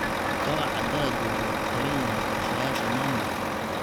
Kobaca dalaggu wuxuu ku xiran yahay qorshayaasha maamulka.